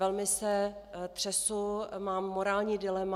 Velmi se třesu, mám morální dilema.